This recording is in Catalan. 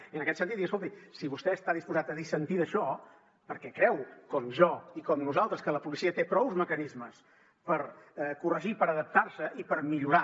i en aquest sentit dir escolti si vostè està disposat a dissentir d’això perquè creu com jo i com nosaltres que la policia té prou mecanismes per corregir per adaptar se i per millorar